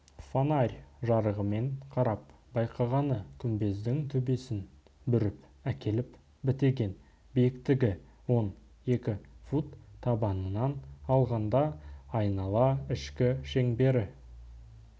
фонарь жарығымен қарап байқағаны күмбездің төбесін бүріп әкеліп бітеген биіктігі он екі фут табанынан алғанда айнала ішкі шеңбері